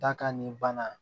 Da ka nin bana